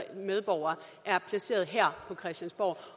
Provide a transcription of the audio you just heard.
medborgere er placeret her på christiansborg